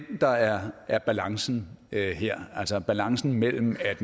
der er er balancen her altså balancen mellem at